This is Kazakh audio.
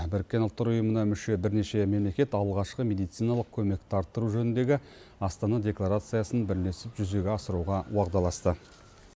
біріккен ұлттар ұйымына мүше бірнеше мемлекет алғашқы медициналық көмекті арттыру жөніндегі астана декларациясын бірлесіп жүзеге асыруға уағдаласты